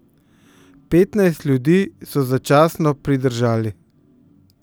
Petnajst ljudi so začasno pridržali.